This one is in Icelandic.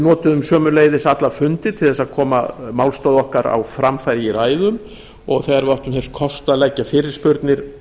notuðum sömuleiðis alla fundi til þess að koma málstað okkar á framfæri í ræðum og þegar við áttum þess kost að leggja fyrirspurnir